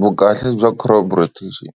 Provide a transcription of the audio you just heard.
Vukahle bya crop rotation